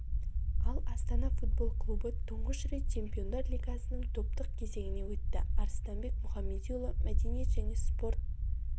ал астана футбол клубы тұңғыш рет чемпиондар лигасының топтық кезеңіне өтті арыстанбек мұхамедиұлы мәдениет және спорт